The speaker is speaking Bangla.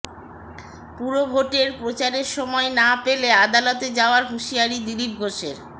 পুরভোটের প্রচারের সময় না পেলে আদালতে যাওয়ার হুঁশিয়ারি দিলীপ ঘোষের